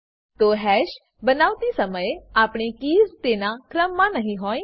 તો હેશ બનાવતી શમયે આપેલ કીઝ તેના ક્રમ મા નહી હોય